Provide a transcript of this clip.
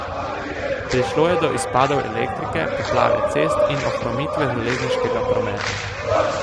Prišlo je do izpadov elektrike, poplave cest in ohromitve železniškega prometa.